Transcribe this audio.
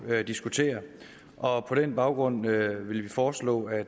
diskuterer og på den baggrund vil vi foreslå at